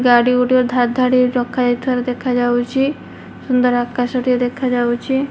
ଗାଡି ଗୋଟିଏ ଧାଡ ଧାଡି ହେଇ ରଖାଯାଇଥିବାର ଦେଖାଯାଉଚି ସୁନ୍ଦର ଆକାଶଟେ ଦେଖାଯାଉଚି।